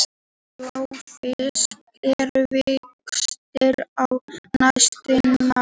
Bláfiskar eru virkastir á næturnar.